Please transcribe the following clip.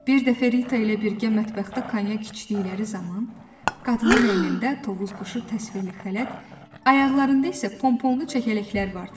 Bir dəfə Rita ilə birgə mətbəxdə konyak içdikləri zaman qadının əynində Tovuza quşu təsvirli xələt, ayaqlarında isə pomponlu çəkələklər vardı.